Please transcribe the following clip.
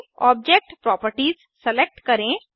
object properties select करें